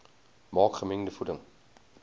maak gemengde voeding